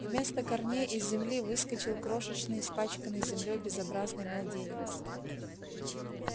вместо корней из земли выскочил крошечный испачканный землёй безобразный младенец